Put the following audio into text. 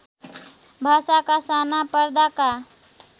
भाषाका साना पर्दाका